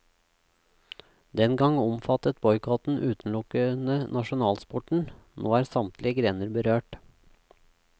Den gang omfattet boikotten utelukkende nasjonalsporten, nå er samtlige grener berørt.